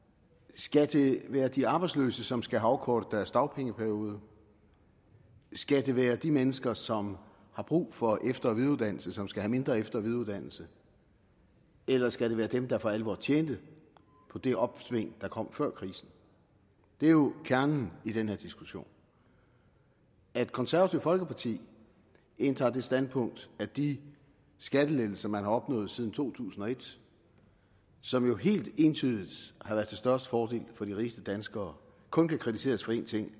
skal det være de arbejdsløse som skal have afkortet deres dagpengeperiode skal det være de mennesker som har brug for efter og videreuddannelse som skal have mindre efter og videreuddannelse eller skal det være dem der for alvor tjente på det opsving der kom før krisen det er jo kernen i den her diskussion at det konservative folkeparti indtager det standpunkt at de skattelettelser man har opnået siden to tusind og et som jo helt entydigt har været til størst fordel for de rigeste danskere kun kan kritiseres for én ting